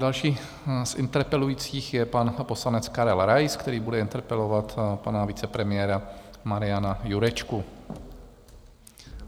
Další z interpelujících je pan poslanec Karel Rais, který bude interpelovat pana vicepremiéra Mariana Jurečku.